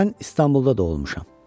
Mən İstanbulda doğulmuşam.